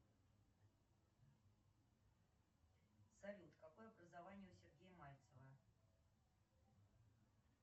салют какое образование у сергея мальцева